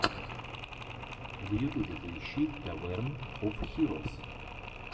в ютубе поищи таверн оф хирос